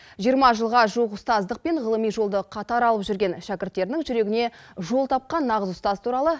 жиырма жылға жуық ұстаздық пен ғылыми жолды қатар алып жүрген шәкірттерінің жүрегіне жол тапқан нағыз ұстаз туралы